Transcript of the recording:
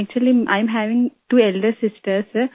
actually I am having two elder sister सिर